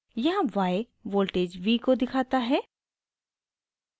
यहाँ y voltage v को दिखाता है